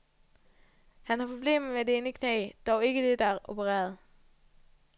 Han har problemer med det ene knæ, dog ikke det der er opereret.